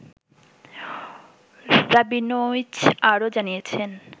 Rabinowitz আরও জানিয়েছেন